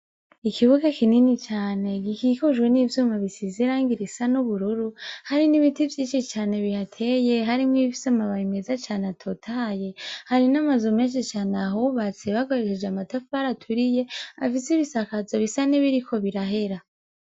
Ikibuga kinini cane gikikujwe n'ivyuma bisizirango irisa n'ubururu hari n'ibiti vyici cane bihateye harimwo ibifise amababa imeza cane atotaye hari n'amazu menshi cane ahubatse bagoreseje amatafari aturiye afise ibisakazo bisa nebiriko birahera.